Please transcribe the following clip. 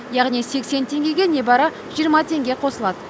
яғни сексен теңгеге небары жиырма теңге қосылады